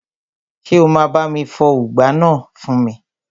Ṣé o máa bá mi fọ ùgbá náà fún mi?